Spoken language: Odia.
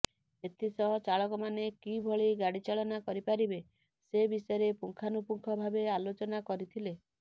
ଏଥିସହ ଚାଳକମାନେ କିଭଳି ଗାଡିଚାଳନା କରିପାରିବେ ସେ ବିଷୟରେ ପୁଙ୍ଖାନୁପୁଙ୍ଖ ଭାବେ ଆଲୋଚନା କରିଥିଲେ